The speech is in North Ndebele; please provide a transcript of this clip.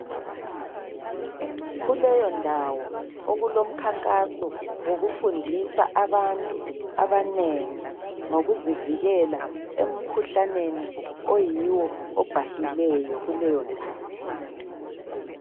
Kuleyondawo okulomkhankaso wokufundisa abantu abanengi ,ngokuzivikela emkhuhlaneni .Oyiwo obhahileyo kuleyondawo.